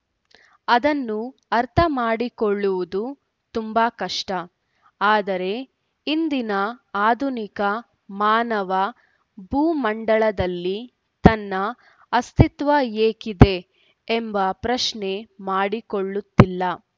ಅದನ್ನು ಅರ್ಥ ಮಾಡಿಕೊಳ್ಳುವುದು ತುಂಬಾ ಕಷ್ಟ ಆದರೆ ಇಂದಿನ ಆಧುನಿಕ ಮಾನವ ಭೂ ಮಂಡಲದಲ್ಲಿ ತನ್ನ ಅಸ್ತಿತ್ವ ಏಕಿದೆ ಎಂಬ ಪ್ರಶ್ನೆ ಮಾಡಿಕೊಳ್ಳುತ್ತಿಲ್ಲ